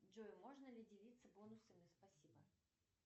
джой можно ли делиться бонусами спасибо